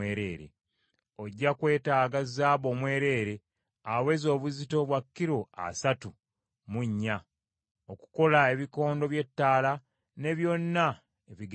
Ojja kwetaaga zaabu omwereere aweza obuzito bwa kilo asatu mu nnya, okukola ekikondo ky’ettaala ne byonna ebigenderako.